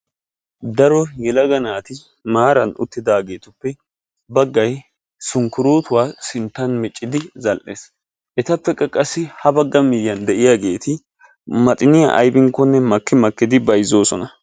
Daro yelagga naati maaran uttidagetuppe baggay sunkkurutuwaa sinttan miccidi zal'es. Ettappe qassi ha bagga miyiyaani de'yagetti maxinyaa aybinkkonne makki makki bayzossona.